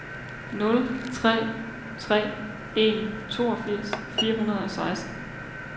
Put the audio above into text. nul tre tre en toogfirs fire hundrede og seksten